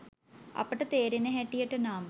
අපට තේරෙන හැටියට නම්